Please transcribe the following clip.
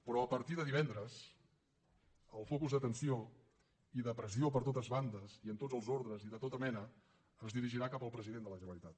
però a partir de divendres el focus d’atenció i de pressió per totes bandes i en tots els ordres i de tota mena es dirigirà cap al president de la generalitat